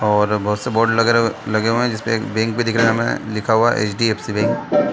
और बहुत से बोर्ड लगे लगे हुए है जिसपे एक बैंक भी दिख रहा है हमें लिखा हुआ एचडीएफसी बैंक --